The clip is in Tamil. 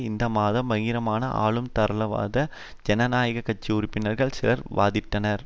இந்த மாதம் பகிரங்கமாக ஆளும் தாராளவாத ஜனநாயக கட்சி உறுப்பினர்கள் சிலர் வாதிட்டனர்